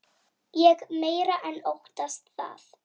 Ég meira en óttast það.